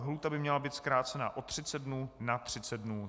Lhůta by měla být zkrácena o 30 dnů na 30 dnů.